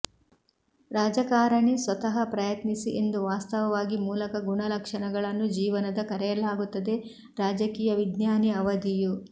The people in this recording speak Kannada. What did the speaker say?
ರಾಜಕಾರಣಿ ಸ್ವತಃ ಪ್ರಯತ್ನಿಸಿ ಎಂದು ವಾಸ್ತವವಾಗಿ ಮೂಲಕ ಗುಣಲಕ್ಷಣಗಳನ್ನು ಜೀವನದ ಕರೆಯಲಾಗುತ್ತದೆ ರಾಜಕೀಯ ವಿಜ್ಞಾನಿ ಅವಧಿಯು